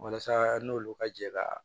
Walasa n'olu ka jɛ ka